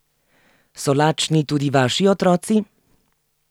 So lačni tudi vaši otroci?